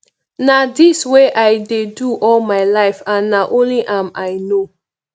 na dis wey i dey do all my life and na only am i no